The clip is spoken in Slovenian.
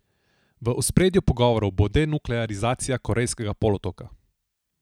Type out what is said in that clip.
V ospredju pogovorov bo denuklearizacija Korejskega polotoka.